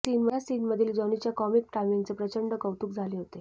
या सीनमधील जॉनीच्या कॉमिक टायमिंगचे प्रचंड कौतुक झाले होते